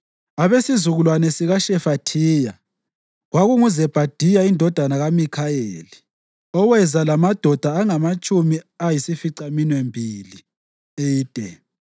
abesizukulwane sikaShefathiya, kwakunguZebhadiya indodana kaMikhayeli, oweza lamadoda angamatshumi ayisificaminwembili (80);